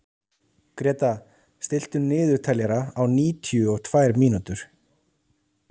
Gréta, stilltu niðurteljara á níutíu og tvær mínútur.